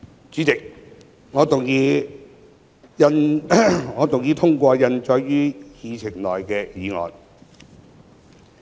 主席，我動議通過印載於議程內的議案。